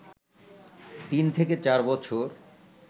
তিন থেকে চার বছর